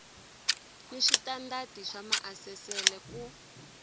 ni switandati swa maasesele ku